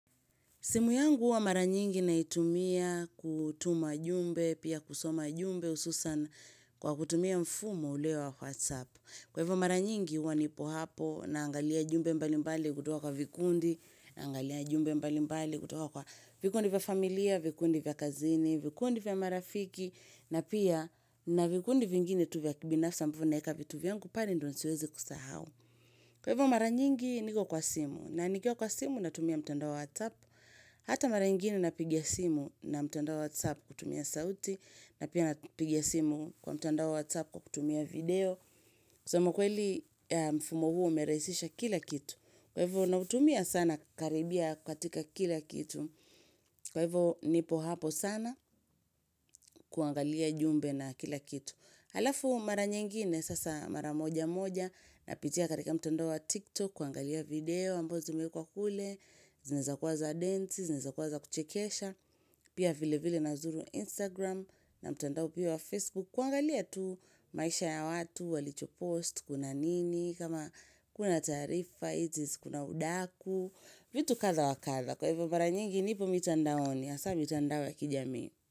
Simu yangu huwa mara nyingi naitumia kutuma jumbe, pia kusoma jumbe hususan kwa kutumia mfumo ule wa WhatsApp. Kwa hivo mara nyingi huwa nipo hapo naangalia jumbe mbalimbali kutoka kwa vikundi, angalia jumbe mbalimbali kutoka kwa vikundi vya familia, vikundi vya kazini, vikundi vya marafiki, na pia na vikundi vingine tu vya kibinafsa ambayo naeka vitu vyangu pale ndo nisiweze kusahau. Kwa hivo mara nyingi niko kwa simu na nikiwa kwa simu natumia mtandao wa WhatsApp. Hata mara ingine napiga simu na mtendao wa WhatsApp kutumia sauti na pia napiga simu kwa mtandao wa WhatsApp kutumia video sema kweli mfumo huo umeraisisha kila kitu. Kwa hivo nautumia sana karibia katika kila kitu. Kwa hivyo nipo hapo sana kuangalia jumbe na kila kitu. Halafu mara nyingine sasa mara moja moja napitia katika mtandao wa tiktok kuangalia video ambazo zimewekwa kule zinaweza kuwa za densi, zinaweza kuwa za kuchekesha, pia vile vile nazuru instagram na mtandao pia wa facebook kuangalia tu maisha ya watu, walicho post, kuna nini, kama kuna taarifa, it is kuna udaku vitu kadha wakadha, kwa hivo mara nyingi nipo mitandaoni, hasa mitandao ya kijamii.